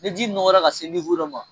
Ni ji nɔkɔra ka dɔ ma